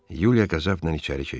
Yuliya qəzəblə içəri keçdi.